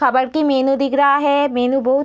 काबर की मेनू दिख रहा है मेनू बहुत --